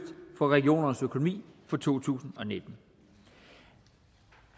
for regionernes økonomi for to tusind og nitten